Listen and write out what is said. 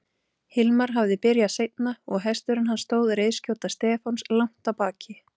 Hilmar hafði byrjað seinna og hesturinn hans stóð reiðskjóta Stefáns langt að baki.